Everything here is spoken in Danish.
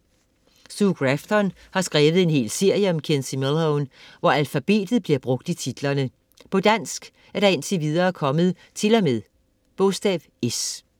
Sue Grafton har skrevet en hel serie om Kinsey Millhone, hvor alfabetet bliver brugt i titlerne. På dansk er der indtil videre kommet til og med s.